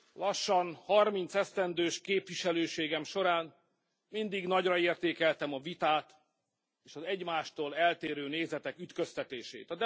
Lassan harmincesztendős képviselőségem során mindig nagyra értékeltem a vitát, és az egymástól eltérő nézetek ütköztetését.